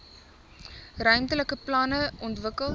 ruimtelike planne ontwikkel